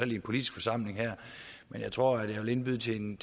i en politisk forsamling her men jeg tror jeg vil indbyde til en